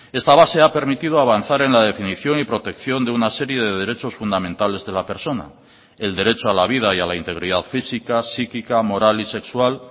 esta base ha permitido avanzar en la definición y protección de una serie de derechos fundamentales de la persona el derecho a la vida y a la integridad física psíquica moral y sexual